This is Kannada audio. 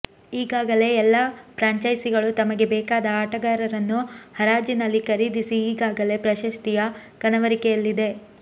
ಈಗಾಗಲೇ ಎಲ್ಲಾ ಪ್ರಾಂಚೈಸಿಗಳು ತಮಗೆ ಬೇಕಾದ ಆಟಗಾರರನ್ನು ಹರಾಜಿನಲ್ಲಿ ಖರೀದಿಸಿ ಈಗಾಗಲೇ ಪ್ರಶಸ್ತಿಯ ಕನವರಿಕೆಯಲ್ಲಿದೆ